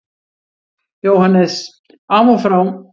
JÓHANNES: Af og frá!